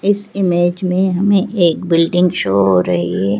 इस इमेज में हमें एक बिल्डिंग शो हो रही है।